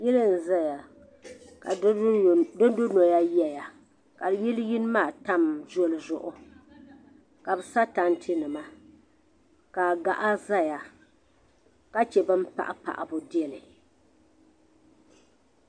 Yili n zaya ka di du noli yɛya ka yili yini maa tam zɔli zuɣu ka bɛ sa tantɛ nima ka gaɣa zaya ka chɛ bɛ ni paɣi paɣabu dɛlli.